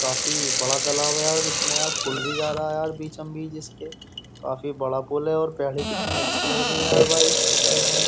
काफी बड़ा तालाब है यार इसमें यार पुल भी जा रहा है यार बीचम बीच इसके काफी बड़ा पुल है और कितनी अच्छी लग रही है यार भाई इसके साइड में।